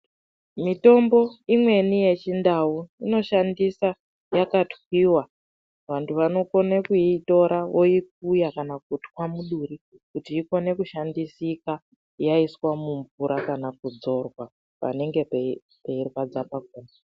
Mitombo imweni ye chindau ino shandisa yaka twiwa vantu vano kone kuitora voikuya kana kutwa muduri kuti ikone kushandisika yaiswa mu mvura kana kudzorwa panenge pei rwadza pakona.